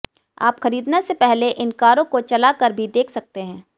आप खरीदने से पहले इन कारों को चला कर भी देख सकते हैं